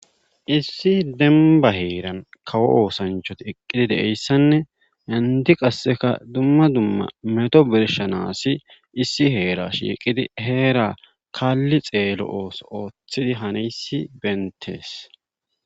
issi demba heeran kawo oosancht eqqidi de'iyssanne handi qasseka dumma dumma meto bershanaasi issi heera shiiqidi heera kalli xeelo ooso ooththidi haneysi betees